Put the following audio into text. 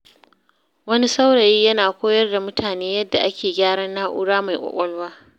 Wani saurayi yana koyar da mutane yadda ake gyaran na’ura mai ƙwaƙwalwa.